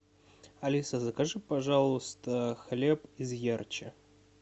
алиса закажи пожалуйста хлеб из ярче